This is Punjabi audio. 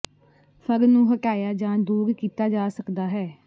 ਫਰ ਨੂੰ ਹਟਾਇਆ ਜਾਂ ਦੂਰ ਕੀਤਾ ਜਾ ਸਕਦਾ ਹੈ